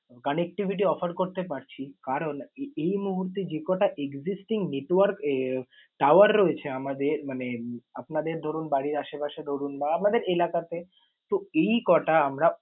connectivity offer করতে পারছি? কারন এই মুহূর্তে যে কটা existing network tower রয়েছে আমাদের মানে আপনাদের ধরুন বাড়ির আশেপাশে ধরুন বা আপনাদের এলাকা তে, তো এই কটা আমরা